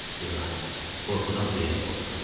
İlahi, qorxudan ürəyim qopdu.